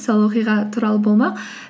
сол оқиға туралы болмақ